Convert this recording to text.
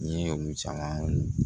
N ye olu caman